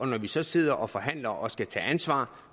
når vi så sidder og forhandler og skal tage ansvar